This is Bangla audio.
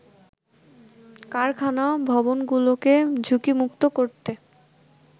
কারখানা ভবনগুলোকে ঝুঁকিমুক্ত করতে